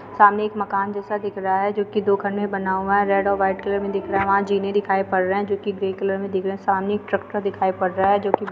सामने एक मकान जैसा दिख रहा है जो की दुकान में बना हुआ है रेड और वाइट कलर में दिख रहा है यहाँ जीने दिखाई पड़ रहे हैं जोकि ग्रे कलर में दिख रहे हैं सामने एक ट्रैक्टर दिखाई पड़ रहा है जोकि --